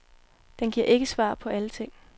Den giver ikke svar på alle ting.